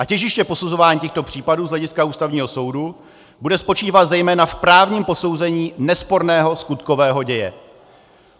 A těžiště posuzování těchto případů z hlediska Ústavního soudu bude spočívat zejména v právním posouzení nesporného skutkového děje.